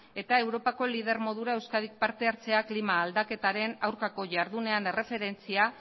eta europako lider modura euskadik parte hartzea klima aldaketaren aurkako jardunean erreferentzia